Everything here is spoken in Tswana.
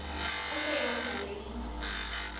ope yo o nang le